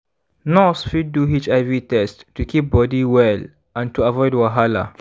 nurse fit do hiv test to keep body well and to avoid wahala.